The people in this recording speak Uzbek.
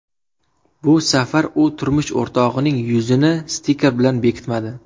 Bu safar u turmush o‘rtog‘ining yuzini stiker bilan bekitmadi.